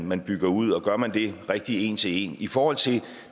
man bygger ud og gør man det rigtige en til en i forhold til